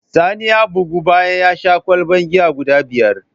Sani ya bugu bayan yasha kwalban giya guda biyar